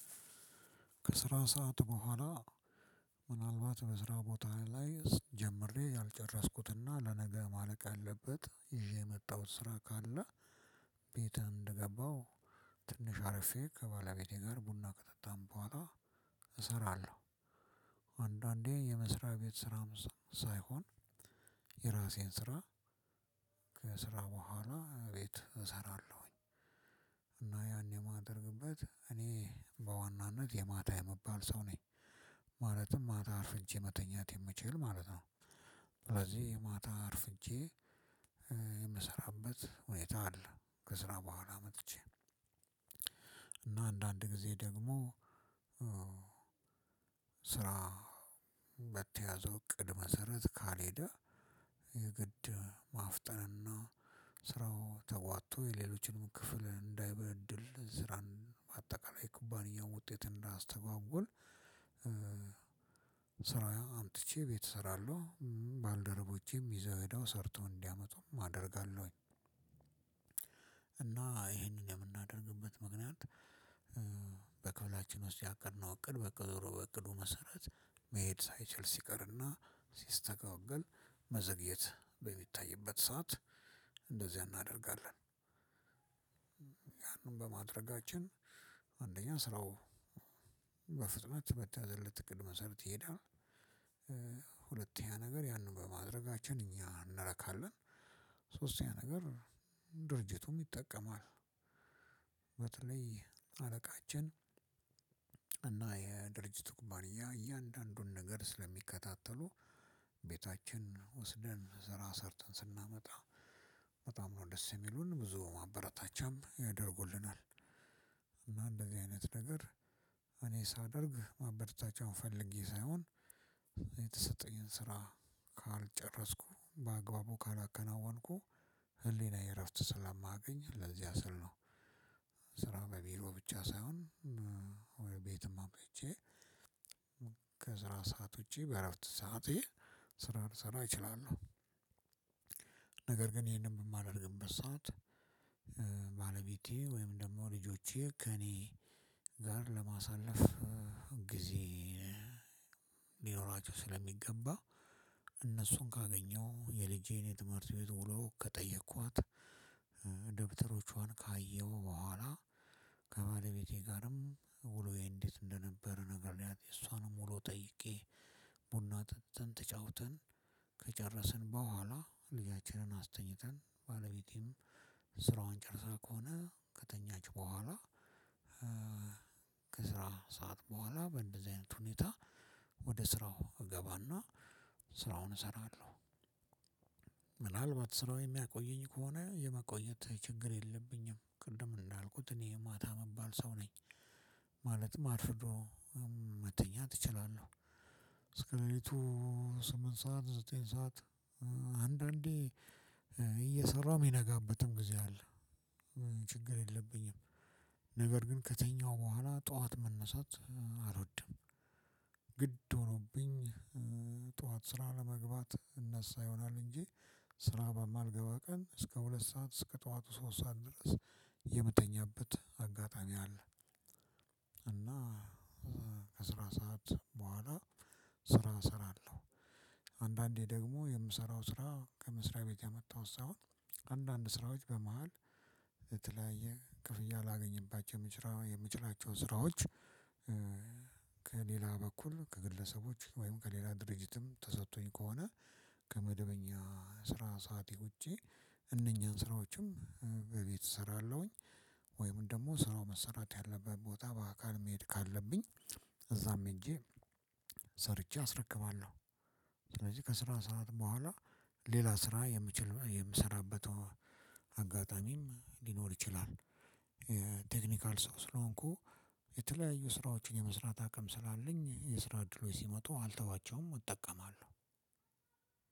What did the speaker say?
ከስራ ሰዓት በኋላ ምናልባት በስራ ቦታ ላይ ጀምሬ ያልጨረስኩት እና ለነገ ማለቅ ያለበት ይዤ የመጣሁት ስራ ካለ ቤትህ እንደገባሁ ትንሽ አርፌ ከባለቤቴ ጋር ቡና ከጠጣን በኋላ እሰራለሁ። አንዳንዴ የመስሪያ ቤት ስራም ሳይሆን የራሴን ስራ ከስራ በኋላ ቤት እሰራለሁኝ። እና ያን የማደርግበት እኔ በዋናነት የማታ የመባል ሰው ነኝ። ማለትም ማታ አርፍጄ መተኛት የምችል ማለት ነው። ስለዚህ ማታ አርፍጄ የምሰራበት ሁኔታ አለ። ከስራ በኋላ መጥቼ እና አንዳንድ ጊዜ ደግሞ ስራ እቅድ መሰረት ካልሄደ የግድ ማፍጠንና ስራው ተጓቶ የሌሎችንም ክፍል እንዳይበድል ስራን በአጠቃላይ የኩባንያውን ውጤት እንዳያስተጓጉል። ስራው አምጥቼ ቤት እሰራለሁ ባልደረቦቼም ይዘው ሄደው ሰርተው እንዲያመጡም አደርጋለሁኝ። እና ይሄንን የምናደርግበት ምክንያት በክፍላችን ውስጥ ያቀድነው እቅድ በቀድሞ በእቅዱ መሰረት መሄድ ሳይችል ሲቀርና ሲስተጓገል መዘግየት በሚታይበት ሰዓት እንደዚህ እናደርጋለን። ያንን በማድረጋችን አንደኛ ስራው በተያዘለት ቅድመ ሰርት ይሄዳል። ሁለተኛ ነገር ያንን በማድረጋችን እኛ እንረካለን። ሶስተኛ ነገር ድርጅቱም ይጠቀማል። በተለይ አለቃችን እና የድርጅቱ ኩባንያ እያንዳንዱን ነገር ስለሚከታተሉ ቤታችን ወስደን ስራ ሰርተን ስናመጣ በጣም ነው ደስ ሚሉን ብዙ ማበረታቻ ያደርጉልናል። እና እንደዚህ አይነት ነገር እኔ ሳደርግ ማበርታቻውን ፈልጌ ሳይሆን የተሰጠኝን ስራ ካልጨረስኩ በአግባቡ ካላከናወንኩ ህሊናዬ እረፍት ስላማገኝ ለዚያ ስል ነው። ስራ ለቢሮ ብቻ ሳይሆን ቤትም አቆይቼ ከስራ ሳዓት ውጪ በእረፍት ስአቴ ስራ ልሰራ እችላለሁ። ነገር ግን ይሄንን የማደርግበት ሰዓት ባለቤቴ ወይም ደግሞ ልጆቼ ከእኔ ጋር ለማሳለፍ ጊዜ ሊኖራቸው ስለሚገባ እነሱን ካገኘው የልጄን የትምህርት ቤት ውሎ ከጠየኳት ደብተሮቿን ካየሁ በኋላ ከባለቤቴ ጋርም ውሎዬ እንዴት እንደነበር ነግረያት እሷንም ውሎ ጠይቄ ቡና ተጫውተን ከጨረስን በኋላ ልጃችንን አስተኛተን ባለቤቴም ጨርሰህ ከሆነ ከተኛች በኋላ ከስራ ሰዓት በኋላ በእንደዚህ አይነት ሁኔታ ወደ ስራው እገባና ስራውን እሰራለሁ። ስራው የሚያቆየኝ ከሆነ የመቆየት ችግር የለብኝም ቅድም እንዳልኩት እኔ ማታ መባል ሰው ነኝ። ማለት አርፍዶ መተኛት እችላለሁ። እስከ ስምንት ሰዓት ዘጠኝ ሰዓት አንዳንዴ እየሰራሁ የሚነጋበትም ጊዜ አለ። ችግር የለብኝም። ነገር ግን ከተኛሁ በኋላ ጠዋት መነሳት አልወድም። ግድ ሆኖብኝ ጠዋት ስራ ለመግባት እነሳ ይሆናል እንጂ ስራ በማልገባ ቀን እስከ ሁለት ሰዓት እስከ ጠዋቱ ሶስት ሰዓት ድረስ የምተኛበት አጋጣሚ አለ። እና ከስራ ሰዓት በኋላ ስራ እሰራለሁ። አንዳንዴ ደግሞ የምሰራው ስራ ከመስሪያ ቤት ያመጣውት ሳይሆን አንዳንድ ስራዎች በመሃል የተለያየ ክፍያ ላገኝባቸው የምችላቸው ስራዎች በኩል ከግለሰቦች ወይም ከሌላ ድርጅትም ተሰጥቶኝ ከሆነ ከመደበኛ ስራ ሰዓቴ ውጪ እነኚህን ስራዎችም በቤት እሰራለሁኝ። ወይም ደግሞ ስራው መሰራት ያለበት ቦታ በአካል መሄድ ካለብኝ እዛም ሄጄ ሰርቼ አስረክባለሁ። ስለዚህ ከስራ ሰዓት በኋላ ሌላ ስራ የምችል የምሰራበት አጋጣሚም ሊኖር ይችላል። ቴክኒካል ሰው ስለሆንኩ የተለያዩ ስራዎችን የመስራት አቅም ስላለኝ የስራ እድሎች ሲመጡ አልተዋቸውም እጠቀማለሁ።